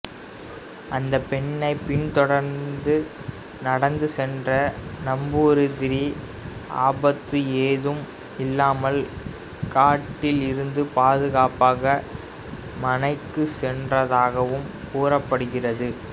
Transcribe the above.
அந்த பெண்ணை பின்தொடர்ந்து நடந்து சென்ற நம்பூதிரி ஆபத்து ஏதும் இல்லாமல் காட்டில் இருந்து பாதுகாப்பாக மனைக்கு சென்றதாகவும் கூறப்படுகிறது